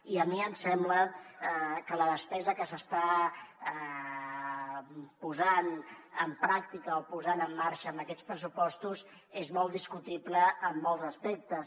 i a mi em sembla que la despesa que s’està posant en pràctica o posant en marxa amb aquests pressupostos és molt discutible en molts aspectes